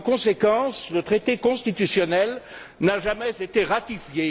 Par conséquent, le traité constitutionnel n'a jamais été ratifié.